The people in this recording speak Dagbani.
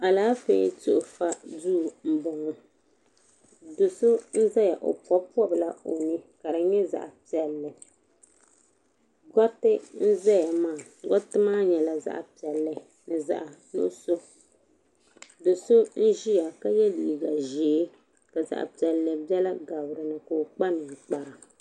Alaafee tuhi fa duu m boŋɔ do'so n zaya o pobi pobila o ni ka fi nyɛ zaɣa piɛlli gariti n zaya maa gariti maa nyɛla zaɣa piɛlli ni zaɣa nuɣuso do'so n ʒia ka ye liiga ʒee ka zaɣa piɛlli biɛla gabi dinni ka o kpa ninkpara.